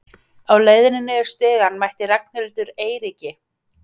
Á leiðinni niður stigann mætti Ragnhildur Eiríki.